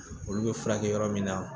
Olu bɛ furakɛ yɔrɔ min na